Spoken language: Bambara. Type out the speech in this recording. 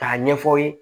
K'a ɲɛfɔ aw ye